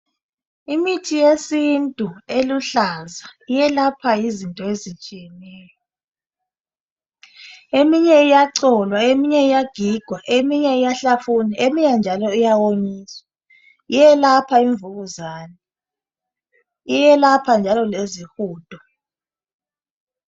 Imithi yesintu eluhlaza eyelapha izinto ezitshiyeneyo, eminye iyacholwa, eminye iyagigwa eminye iyahlafunwa eminye iyawonyiswa. Iyelapha imvukuzane iyelapha njalo lezi hudo